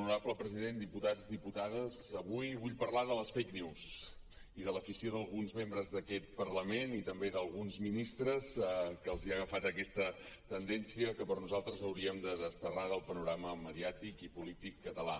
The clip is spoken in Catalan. honorable president diputats diputades avui vull parlar de les fake news i de l’afició d’alguns membres d’aquest parlament i també d’alguns ministres a qui els ha agafat aquesta tendència que per nosaltres hauríem de desterrar del panorama mediàtic i polític català